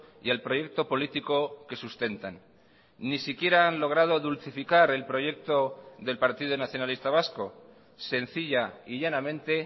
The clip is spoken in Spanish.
y al proyecto político que sustentan ni siquiera han logrado dulcificar el proyecto del partido nacionalista vasco sencilla y llanamente